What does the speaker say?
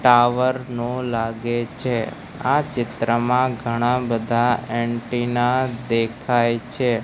Tower નો લાગે છે આ ચિત્રમાં ઘણાંબધા એન્ટિના દેખાય છે.